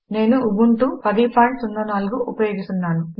నేను ఉబుంటూ ఉబుంటు1004 ఉపయోగిస్తున్నాను